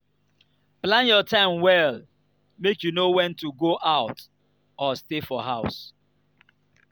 plan your time well make you know wen to go out or stay for house.